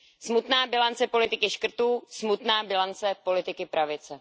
Smutná bilance politiky škrtů, smutná bilance politiky pravice.